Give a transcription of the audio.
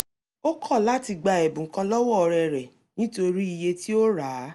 ó kọ̀ láti gba ẹ̀bùn kan lọ́wọ́ ọ̀rẹ́ rẹ̀ nítorí iye tí ó rà á